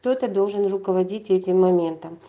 кто-то должен руководить этим моментом